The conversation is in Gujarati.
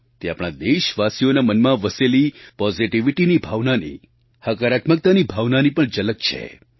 તે આપણા દેશવાસીઓના મનમાં વસેલી પૉઝિટિવિટીની ભાવનાની હકારાત્મકતાની ભાવનાની પણ ઝલક છે